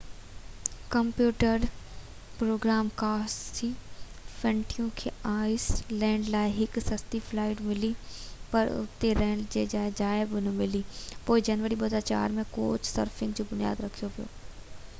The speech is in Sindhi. ڪمپيوٽر پروگرامر ڪاسي فينٽون کي آئس لينڊ لاءِ هڪ سستي فلائيٽ ملي پر اتي رهڻ جي جاءِ نه ملڻ کان پوءِ جنوري 2004 ۾ ڪوچ سرفنگ جو بنياد رکيو ويو